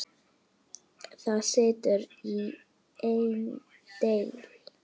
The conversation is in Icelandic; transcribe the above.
Það situr í einni deild.